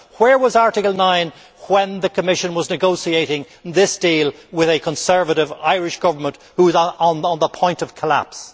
9? Where was Article 9 when the Commission was negotiating this deal with a Conservative Irish Government on the point of collapse?